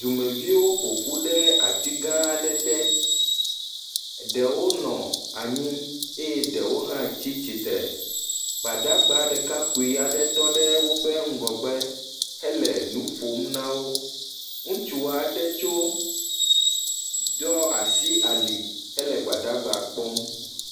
Dumeviwo ƒo ƒu ɖe ati gãã aɖe te. Ɖewo nɔ anyi eye ɖewo hã tsi tsi tre. Gbadagba ɖekakpui aɖe tɔ ɖe woƒe ŋgɔgbe hele nu ƒom na wo. Ŋutsu aɖe tso, ɖo asi ali hele Gbadagbaa kpɔm.